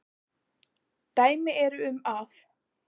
Dæmi eru um að